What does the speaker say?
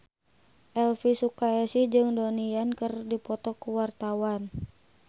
Elvy Sukaesih jeung Donnie Yan keur dipoto ku wartawan